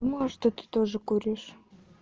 может и ты тоже куришь